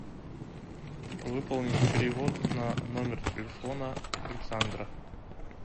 выполнить перевод на номер телефона александра